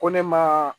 Ko ne ma